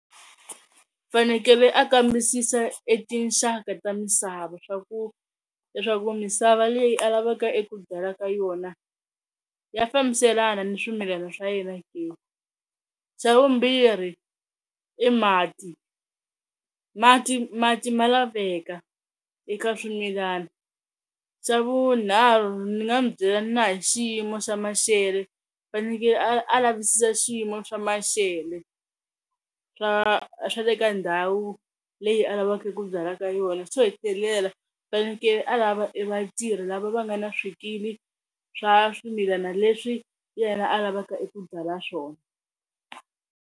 Fanekele a kambisisa e tinxaka ta misava swa ku leswaku misava leyi a lavaka eku byala ka yona ya fambiselana ni swimilana swa yena ke, xa vumbirhi i mati, mati mati ma laveka eka swimilana, xa vunharhu ni nga mu byela na hi xiyimo xa maxelo fanekele a a lavisisa xiyimo xa maxelo swa swa le ka ndhawu leyi a lavaka ku byala ka yona, xo hetelela faneleke a lava vatirhi lava va nga ni swikili swa swimilana leswi yena alavaka eku byala swona.